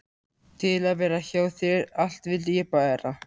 Til að vera hjá þér allt vildi ég bera.